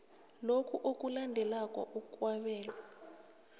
lokhu okulandelako okwabelwa